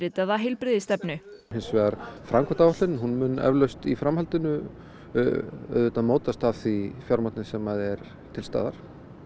nýundirritaða heilbrigðisstefnu hins vegar framkvæmdaáætlunin mun eflaust í framhaldinu auðvitað mótast að því fjármagni sem er til staðar